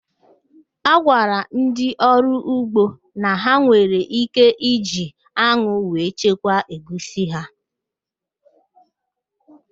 A gwara ndị ọrụ ugbo na ha nwere íké iji anwụ wee chekwaa egwusi ha